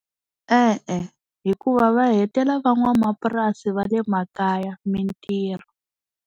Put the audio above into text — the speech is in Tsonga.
E-e hikuva va hetela va n'wamapurasi va le makaya mintirho.